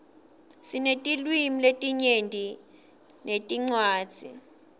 sinetilwimi letinyenti netincwadzi